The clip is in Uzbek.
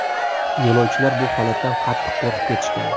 Yo‘lovchilar bu holatdan qattiq qo‘rqib ketishgan.